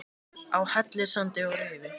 Á Hellissandi og Rifi